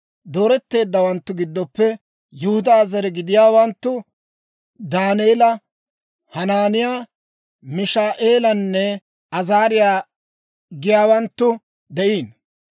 Dooretteeddawanttu giddoppe Yihudaa zare gidiyaawanttu Daaneela, Hanaaniyaa, Mishaa'eelanne Azaariyaa giyaawanttu de'iino.